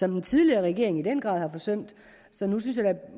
den tidligere regering i den grad har forsømt så jeg synes